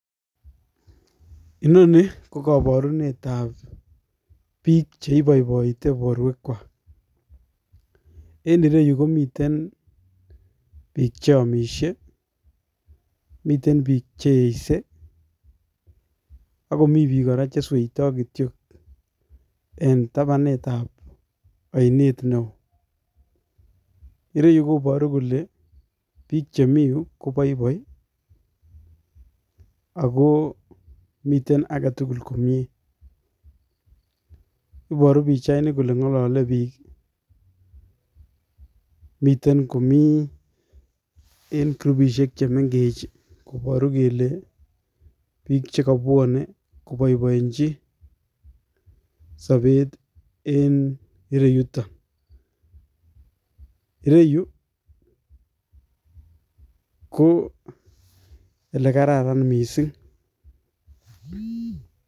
Inonii ko koborunetab biik cheiboiboite borwekwak, en ireyuu komiten biik cheomishe, miten biik cheyeise, ak komii biik kora chesweitoi kityok en tabanutab ainet neoo, ireyu koboru kolee biik chemii yuu koboiboi ak komii aketukul komie, iboru pichaini kolee ng'olole biik, miten komii en kurupishek chemeng'ech koboru kelee biik chekobwone koboiboenchi sobet en ireyuto, ireyuu ko elekararan mising.